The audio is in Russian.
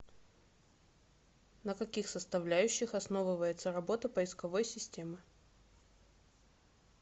на каких составляющих основывается работа поисковой системы